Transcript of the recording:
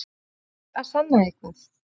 Þurfti ég að sanna eitthvað?